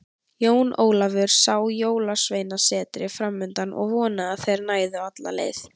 Jón Ólafur sá Jólasveinasetrið framundan og vonaði að þeir næðu alla leið.